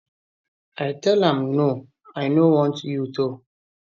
i tell am no i no want you to